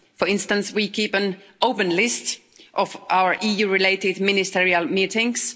For instance, we keep an open list of our EU related ministerial meetings.